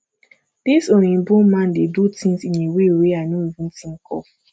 this oyinbo man dey do things in a way wey i no even think of